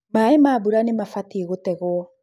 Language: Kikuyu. maĩ ma mbura nĩ mabatiĩ gũtegwo.